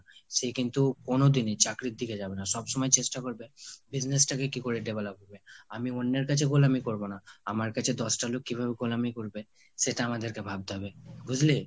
সে কিন্তু কোনোদিনই চাকরির দিকে যাবেনা। সবসময় চেষ্টা করবে business টাকে কি করে develop করবে। আমি অন্যের কাছে গোলামি করবো না। আমার কাছে দশটা লোক কিভাবে গোলামি করবে সেটা আমাদেরকে ভাবতে হবে বুঝলি?